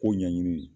Kow ɲɛɲini